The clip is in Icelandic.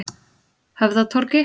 Höfðatorgi